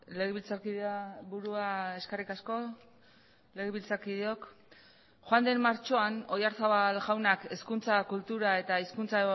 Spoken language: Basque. legebiltzarkidea burua eskerrik asko legebiltzarkideok joan den martxoan oyarzabal jaunak hezkuntza kultura eta hizkuntza